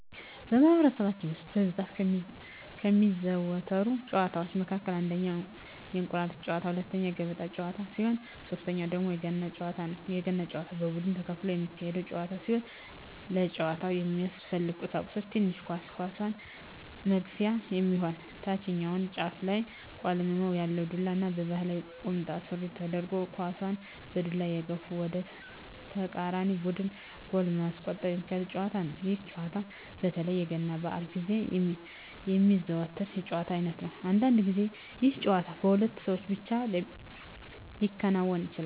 በማህበረሰባችን ውስጥ በብዛት ከሚዘወተሩ ጨዋታወች መካከል አንደኛ የእንቁር ጨዋታ፣ ሁለተኛ የገበጣ ጨዋታ ሲሆን ሶተኛው ደግሞ የገና ጨዋታ ነው። የገና ጨዋታ በቡድን ተከፍሎ የሚካሄድ ጨዋታ ሲሆን ለጨዋታው የሚያስፈልጉ ቀሳቁሶች ትንሽ ኳስ፣ ኳሷን መግፊያ የሚሆን ታችኛው ጫፉ ላይ ቆልመም ያለ ዱላ እና ባህላዊ ቁምጣ ሱሪ ተደርጎ ኳሳን በዱላ እየገፉ ወደ ተቃራኒ ቡድን ጎል በማስቆጠር ሚካሄድ ጨዋታ ነው። ይህ ጨዋታ በተለይ የገና በአል ግዜ የሚዘወተር የጨዋታ አይነት ነው። አንዳንድ ግዜ ይህ ጨዋታ በሁለት ሰው ብቻ ሊከናወን ይችላል።